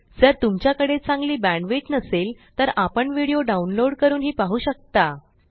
जर तुमच्याकडे चांगली बॅण्डविड्थ नसेल तर आपण व्हिडिओ डाउनलोड करूनही पाहू शकता